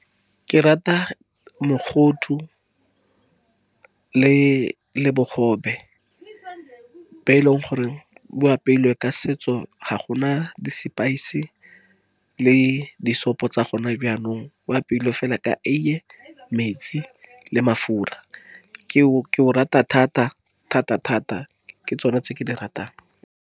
Ke rata mogodu le bogobe, be e leng gore bo apeilwe ka setso, ga gona di-spice, le disopo, tsa gone jaanong. Bo apeilwe fela ka eiye, metsi le mafura. Ke o rata thata-thata-thata ke tsone tse ke di ratang.